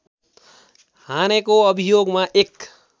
हानेको अभियोगमा एक